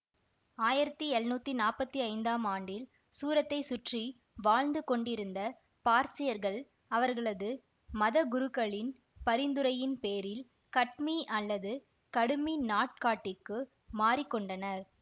ஆயிரத்தி எழுநூத்தி நாப்பத்தி ஐந்தாம் ஆண்டில் சூரத்தை சுற்றி வாழ்ந்து கொண்டிருந்த பார்சியர்கள் அவர்களது மதகுருக்களின் பரிந்துரையின் பேரில் கட்மி அல்லது கடிமி நாட்காட்டிக்கு மாறிகொண்டனர்